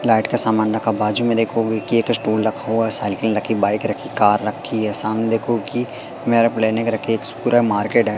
Light का सामान रखा बाजू में देखो कि एक स्टूल रखा हुआ है साइकिल रखी बाइक रखी कार रखी है सामने देखो की मेरप्लेंनिक रखी पूरा मार्केट है।